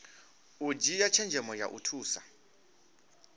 u dzhia tshenzhemo ya thusa